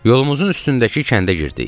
Yolumuzun üstündəki kəndə getdik.